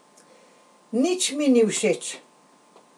Nič mi ni všeč.